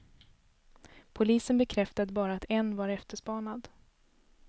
Polisen bekräftade bara att en var efterspanad.